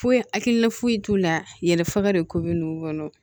Foyi hakilina foyi t'u la yɛlɛfaga don ko bɛ n'u kɔnɔ